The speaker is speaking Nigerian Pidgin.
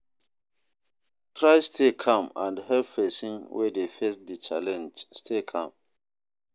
Try stay calm and help persin wey de face di challenge stay calm